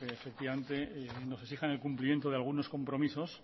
que efectivamente nos exijan el cumplimiento de algunos compromisos